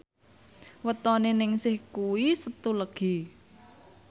wetone Ningsih kuwi Setu Legi